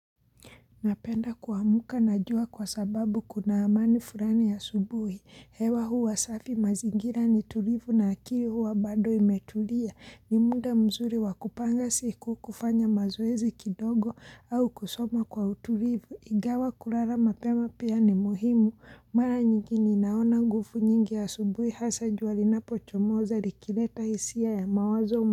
Napenda kuamka na jua kwa sababu kuna amani fulani ya subuhi, hewa huwa safi mazingira ni tulivu na akili huwa bado imetulia, ni mda mzuri wakupanga siku kufanya mazoezi kidogo au kusoma kwa utulivu, igawa kulala mapema pia ni muhimu, mara nyingine naona ngufu nyingi ya subuhi hasa jua lina pocho moza likileta hisia ya mawazo.